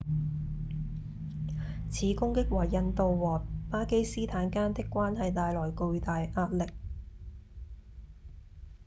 此攻擊為印度和巴基斯坦間的關係帶來巨大壓力